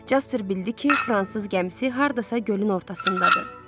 Jasper bildi ki, fransız gəmisi hardasa gölün ortasındadır.